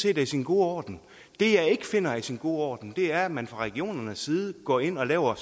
er i sin gode orden det jeg ikke finder er i sin gode orden er at man fra regionernes side går ind og laver